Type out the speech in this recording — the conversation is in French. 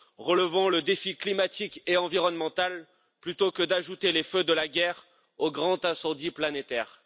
Relevons le défi climatique et environnemental, plutôt que d'ajouter les feux de la guerre au grand incendie planétaire.